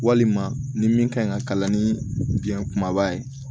Walima ni min kan ɲi ka kalan ni biyɛn kumaba ye